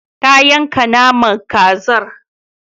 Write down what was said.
Ta yanka naman kazar.